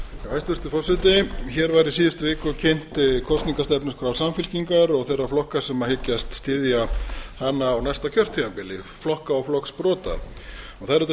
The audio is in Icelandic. hæstvirtur forseti í síðustu viku var kynnt kosningastefnuskrá samfylkingar og þeirra flokka sem hyggjast styðja hana á næsta kjörtímabili flokka og flokksbrota það er auðvitað